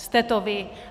Jste to vy.